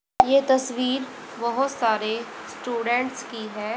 ये तस्वीर बहोत सारे स्टूडेंट्स की है।